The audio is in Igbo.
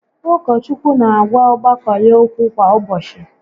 Ụkọchukwu n'agwa ọgbakọ ya okwu kwa ụbọchị